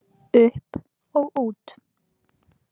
Upp og út.